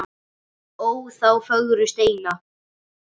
ó þá fögru steina